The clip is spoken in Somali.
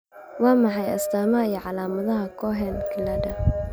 Waa maxay astamaha iyo calaamadaha Cohen ciilada